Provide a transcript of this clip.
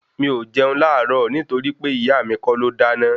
Mi ò jẹun láàárọ̀ nítorí pé ìyá mi kọ́ ló dáná